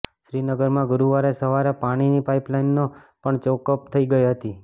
શ્રીનગરમાં ગુરુવારે સવારે પાણીની પાઇપલાઇનો પણ ચોકઅપ થઈ ગઈ હતી